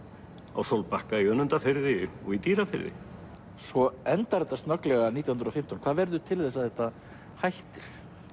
á Sólbakka í Önundarfirði og í Dýrafirði svo endar þetta snögglega nítján hundruð og fimmtán hvað verður til þess að þetta hættir